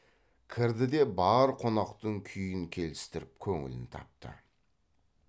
кірді де бар қонақтың күйін келістіріп көңілін тапты